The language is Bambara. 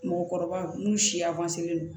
Mɔgɔkɔrɔba n'u siya don